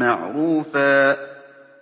مَّعْرُوفًا